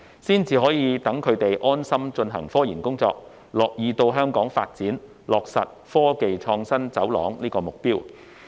這樣才可讓他們安心進行科研工作，樂意到香港發展，落實建設科技創新走廊的目標。